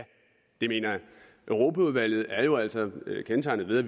europaudvalget er jo altså kendetegnet ved at